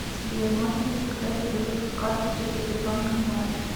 сбер можно ли заказать перевыпуск карты через сбербанк онлайн